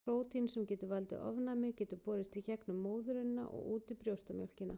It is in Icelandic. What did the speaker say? Prótín sem getur valdið ofnæmi getur borist í gegnum móðurina og út í brjóstamjólkina.